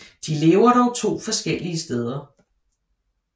De lever dog to forskellige steder